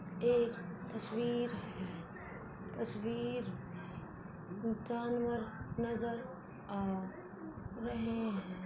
एक तस्वीर तस्वीर जानवर नजर आ रहे हैं।